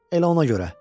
Elə ona görə.